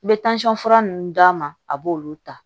N bɛ fura ninnu d'a ma a b'olu ta